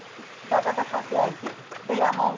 টাকাটা থাকে আর কি, সেই amount